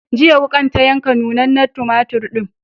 Jiya, wuƙar ta yanka nunnanen tumatur ɗin.